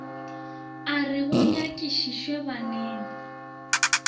a re go nyakišišwe baneng